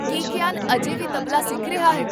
ਕੀ ਕੀਆਨ ਅਜੇ ਵੀ ਤਬਲਾ ਸਿੱਖ ਰਿਹਾ ਹੈ?